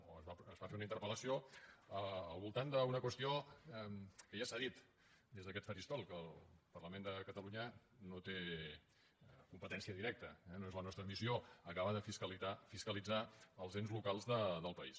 o es va fer una interpel·lació al voltant d’una qüestió que ja s’ha dit des d’aquest faristol el parlament de catalunya no hi té competència directa eh no és la nostra missió acabar de fiscalitzar els ens locals del país